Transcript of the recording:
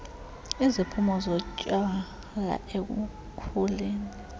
iziphumo zotywala ekukhuleni